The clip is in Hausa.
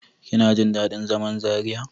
Kina jin daɗin zaman Zariya?